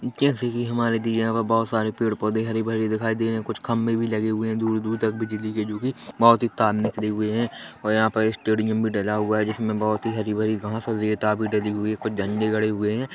जैसे की हमारे दिए हुए बहुत सारे पेड़-पौधे हरी-भरी दिखाई दे रहे हैं कुछ खंभे भी लगे हुए है दूर-दूर तक बिजली के जो की बहुत तार निकले हुए है और यहाँ पर स्टेडियम भी डला हुआ है जिसमे बहुत ही हरी-भरी घाँस और ईंटा भी डली हुई है कुछ झंडे गड़े हुए है।